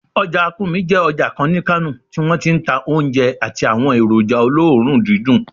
Ọjà Kurmi jẹ́ ọjà kan ní Kano tí wọ́n ti ń ta oúnjẹ àti àwọn èròjà olóòórùn dídùn